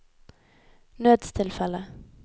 nødstilfelle